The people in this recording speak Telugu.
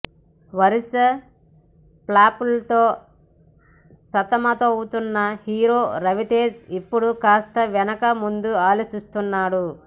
వరుస ఫ్లాపులతో సతమతమవుతున్న హీరో రవితేజ ఇప్పడు కాస్త వెనక ముందు ఆలోచిస్తున్నాడు